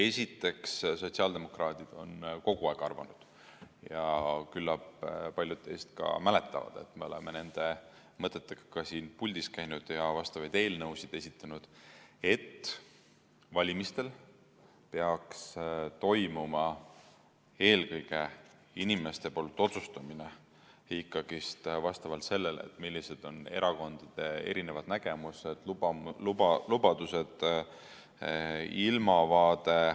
Esiteks, sotsiaaldemokraadid on kogu aeg arvanud ja küllap paljud teist mäletavad, et me oleme nende mõtetega ka siin puldis käinud ja vastavaid eelnõusid esitanud, et valimistel peaksid inimesed eelkõige otsustama vastavalt sellele, millised on erakondade nägemused, lubadused ja ilmavaade.